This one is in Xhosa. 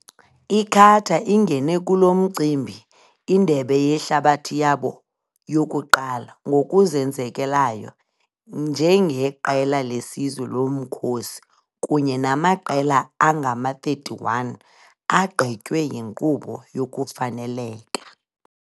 I-Qatar ingene kulo mcimbi-iNdebe yeHlabathi yabo yokuqala-ngokuzenzekelayo njengeqela lesizwe lomkhosi, kunye namaqela angama-31 agqitywe yinkqubo yokufaneleka.